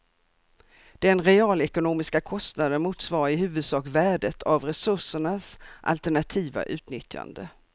Den realekonomiska kostnaden motsvarar i huvudsak värdet av resursernas alternativa utnyttjande.